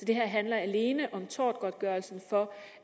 det her handler alene om tortgodtgørelsen for